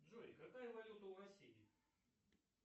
джой какая валюта в россии